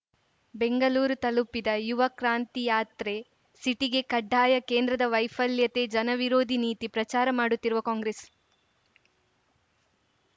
ಬೆಂಗಳೂರು ತಲುಪಿದ ಯುವ ಕ್ರಾಂತಿ ಯಾತ್ರೆ ಸಿಟಿಗೆ ಕಡ್ಡಾಯ ಕೇಂದ್ರದ ವೈಫಲ್ಯತೆ ಜನವಿರೋಧಿ ನೀತಿ ಪ್ರಚಾರ ಮಾಡುತ್ತಿರುವ ಕಾಂಗ್ರೆಸ್‌